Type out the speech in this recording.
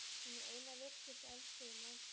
Hún er ein af virkustu eldstöðvum landsins.